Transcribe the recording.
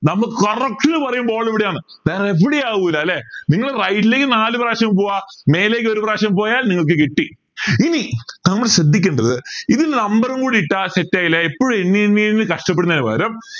നമുക്ക് correct പറയുമ്പോ വിടെയാണ് വേറെ എവിടെയും ആവില്ല ല്ലേ നിങ്ങള് right ലേക്ക് നാല് പ്രാവശ്യം പോവാ മേലേക്ക് ഒരു പ്രാവശ്യം പോയാൽ നിങ്ങൾക്ക് കിട്ടി ഇനി നമ്മൾ ശ്രദ്ധിക്കേണ്ടത് ഇതിന് number ഉം കൂടി ഇട്ടാൽ set ആയില്ലേ എപ്പോഴും എണ്ണിയെണ്ണി കഷ്ടപ്പെടുന്നതിന് പകരം